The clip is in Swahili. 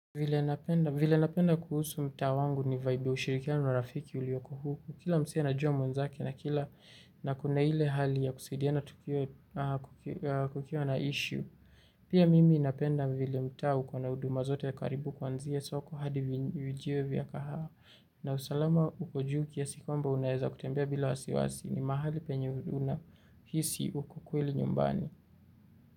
Vile napenda kuhusu mta wangu ni vaibu ushirikiano na urafiki uliyoko huku. Kila msee anajua mwenzake na kila na kuna ile hali ya kusaidiana kukiwa na issue. Pia mimi napenda vile mtaa uko na huduma zote karibu kuanzia soko hadi vijeo vya kahawa. Na usalama uko juu kiasi kwamba unaweza kutembea bila wasiwasi. Ni mahali penye unahisi uko kweli nyumbani.